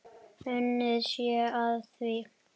Unnið sé að því.